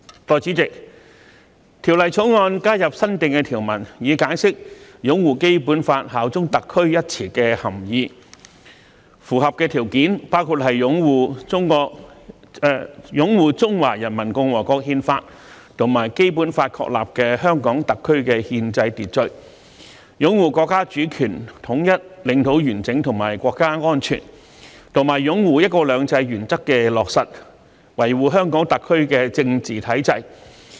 代理主席，《條例草案》加入新訂條文，以解釋"擁護《基本法》、效忠特區"一詞的涵義，符合的條件包括擁護《中華人民共和國憲法》及《基本法》確立的香港特區的憲制秩序；擁護國家主權、統一、領土完整和國家安全；及擁護"一國兩制"原則的落實，維護香港特區的政治體制。